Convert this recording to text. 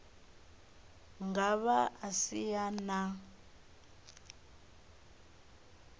nga vha a si na